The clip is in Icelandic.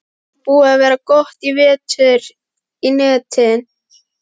Er þetta búið að vera gott í vetur í netin?